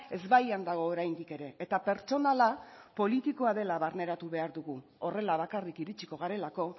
ezbaian dago oraindik ere eta pertsonala politikoa dela barneratu behar dugu horrela bakarrik iritsiko garelako